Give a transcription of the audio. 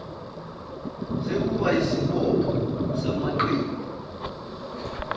sekuba yisibopho samaqembu